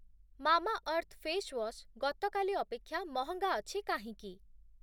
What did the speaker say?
Mamaearth face wash ଗତକାଲି ଅପେକ୍ଷା ମହଙ୍ଗା ଅଛି କାହିଁକି?